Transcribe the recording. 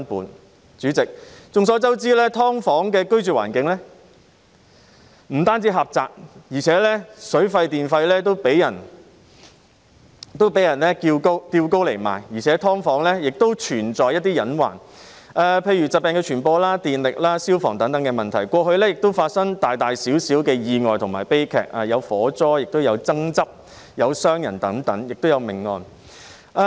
代理主席，眾所周知，"劏房"的居住環境不僅狹窄，而且水費和電費也被人提高，"劏房"亦存在一些隱患，例如疾病的傳播、電力和消防等問題，過去曾發生大小意外和悲劇，例如火災和爭執，亦曾發生傷人和命案。